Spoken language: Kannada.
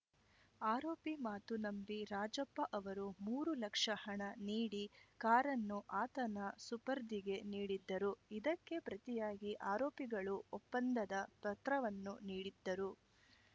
ಆರೋಪಿ ಮಾತು ನಂಬಿ ರಾಜಪ್ಪ ಅವರು ಮೂರು ಲಕ್ಷ ಹಣ ನೀಡಿ ಕಾರನ್ನು ಆತನ ಸುಪರ್ದಿಗೆ ನೀಡಿದ್ದರು ಇದಕ್ಕೆ ಪ್ರತಿಯಾಗಿ ಆರೋಪಿಗಳು ಒಪ್ಪಂದದ ಪತ್ರವನ್ನು ನೀಡಿದ್ದರು